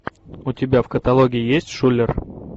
у тебя в каталоге есть шулер